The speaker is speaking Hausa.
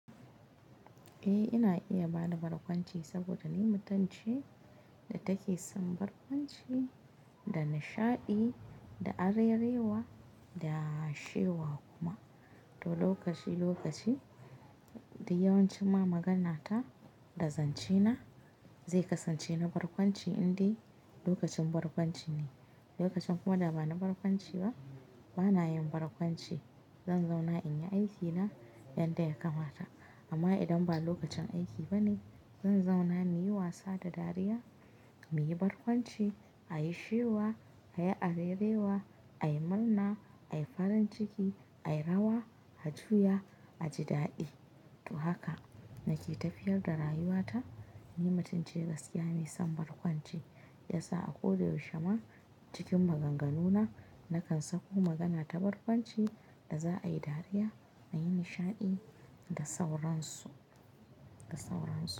Eh, ina iya bada barkwanci saboda ni mutum ce da take son barkwanci, da nishaɗi, da arerewa, da shewa kuma. To lokaci-lokaci, da yawanci ma maganata da zance na zai kasance na barkwanci in dai lokacin barkwanci ne. Lokacin kuma da ba na barkwanci ba, bana yin barkwanci. Zan zauna in yi aikina yadda ya kamata. Amma idan ba lokacin aiki ba ne, zan zauna mu yi wasa da dariya, mu yi barkwanci, a yi shewa, a yi arerewa, ai murna, ai farin ciki, ai rawa, a juya, a ji daɗi. To haka nake tafiyar da rayuwata. Ni mutum ce gaskiya me son barkwanci. Ya sa a koda yaushe ma cikin maganganuna, na kan sako magana ta barkwanci da za a yi dariya, a yi nishaɗi da sauransu, da sauran su.